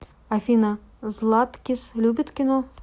афина златкис любит кино